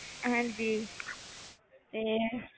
ਹਾਂਜੀ ਇਹ